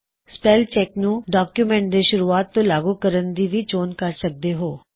ਤੁਸੀ spell check ਨੂੰ document ਦੇ ਸ਼ੁਰੂਆਤ ਤੋਂ ਲਾਗੁ ਕਰਣ ਦੀ ਚੋਣ ਵੀ ਕਰ ਸਕਦੇਂ ਹੋਂ